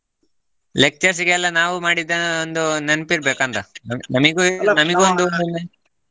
Lectures ಗೆಲ್ಲ ಸಿಗಲ್ಲ ನಾವು ಮಾಡಿದ್ದ ಒಂದು ನೆನಪ ಇರಬೇಕ ಅಂತ